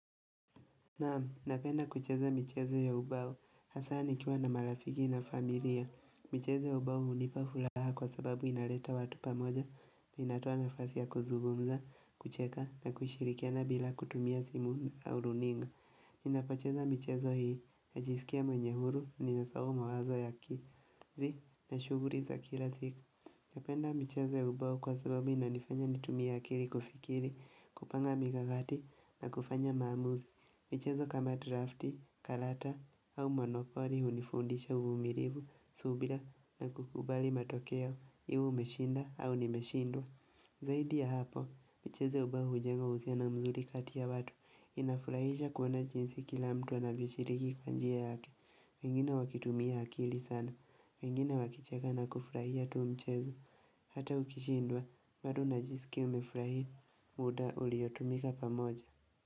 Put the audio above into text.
Naam, napenda kucheza michezo ya ubao, hasa nikiwa na marafiki na familia michezo ya ubao hunipa furaha kwa sababu inaleta watu pamoja inatoa nafasi ya kuzugumza, kucheka na kushirikiana bila kutumia simu au runinga Ninapocheza michezo hii, najisikia mwenye huru, nimesahau mawazo ya ki Zii, na shughuli za kila siku Napenda michezo ya ubao kwa sababu inanifanya nitumie akili kufikiri, kupanga mikakati na kufanya maamuzi michezo kama drafti, karata au monopoli hunifundisha uvumilivu, subira na kukubali matoke yao, iwe umeshinda au nimeshindwa. Zaidi ya hapo, michezo ya ubao hujenga uhusiano mzuri kati ya watu. Inafurahisha kuona jinsi kila mtu anavyoshiriki kwa njia yake. Wengine wakitumia akili sana. Wengine wakicheka na kufurahia tu mchezo. Hata ukishindwa, bado unajisikia umefurahia. Muda uliotumika pamoja.